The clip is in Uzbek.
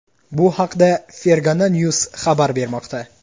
Bu haqda Fergana news xabar bermoqda .